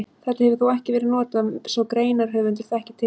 Þetta hefur þó ekki verið notað svo greinarhöfundur þekki til.